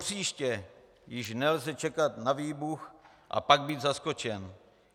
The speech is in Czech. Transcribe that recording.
Propříště již nelze čekat na výbuch a pak být zaskočen.